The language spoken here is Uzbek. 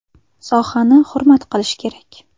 Sohani hurmat qilish kerak.